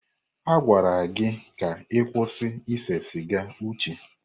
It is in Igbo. Agwala gị ka ịkwụsịrị ise siga, Uche!